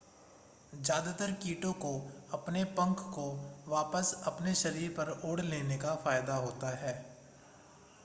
ज़्यादातर कीटों को अपने पंख को वापस अपने शरीर पर ओढ़ लेने का फायदा होता है